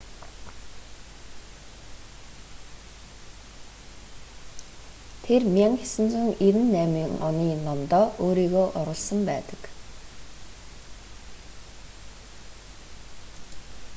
тэр 1998 оны номдоо өөрийгөө оруулсан байдаг